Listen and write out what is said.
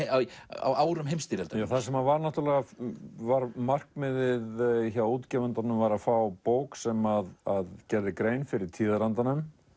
árum heimsstyrjaldarinnar þar sem var var markmiðið hjá útgefandanum var að fá bók sem að gerði grein fyrir tíðarandanum